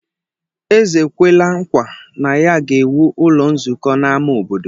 Eze ekwela nkwa na ya ga-ewu ụlọ nzukọ n’ámá obodo.